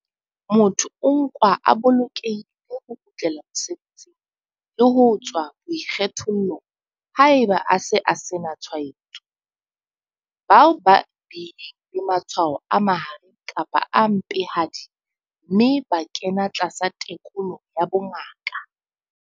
Motho o nkwa a bolokelehile ho kgutlela mosebetsing le ho tswa boikgethollong haeba a se a sena tshwaetso. Bao ba bileng le matshwao a mahareng kapa a mpehadi mme ba kena tlasa tekolo ya bongaka.